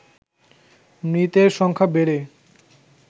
মৃতের সংখ্যা বেড়ে